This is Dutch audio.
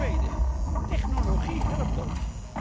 Ten tweede technologie helpt ons.